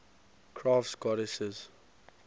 crafts goddesses